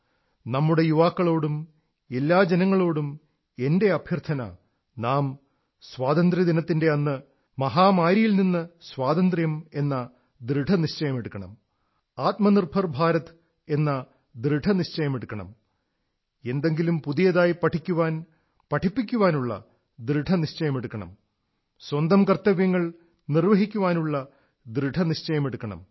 നമ്മുടെ യുവാക്കളോടും എല്ലാ ജനങ്ങളോടും എന്റെ അഭ്യർഥന നാം സ്വാതന്ത്ര്യദിനത്തിന്റെ അന്ന് മഹാമാരിയിൽ നിന്ന് സ്വാതന്ത്ര്യമെന്ന ദൃഢനിശ്ചയമെടുക്കണം ആത്മനിർഭർ ഭാരത് എന്ന ദൃഢനിശ്ചയമെടുക്കണം എന്തെങ്കിലും പുതിയതായി പഠിക്കാൻ പഠിപ്പിക്കാനുള്ള ദൃഢനിശ്ചയമെടുക്കുണം സ്വന്തം കർത്തവ്യങ്ങൾ നിർവ്വഹിക്കാനുള്ള ദൃഢനിശ്ചയമെടുക്കണം